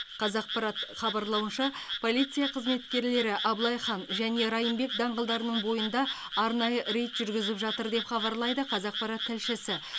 қазақпарат хабарлауынша полиция қызметкерлері абылай хан және райымбек даңғылдарының бойында арнайы рейд жүргізіп жатыр деп хабарлайды қазақпарат тілшісі